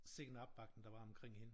Sikke en opbakning der var omkring hende